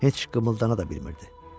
Heç qımıldana da bilmirdi.